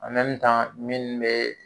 minnu be